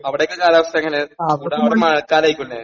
അവിടൊക്കെ കാലാവസ്ഥ എങ്ങനെ ചൂട് മഴക്കാലായിരിക്കുംലെ.